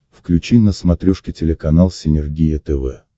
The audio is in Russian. включи на смотрешке телеканал синергия тв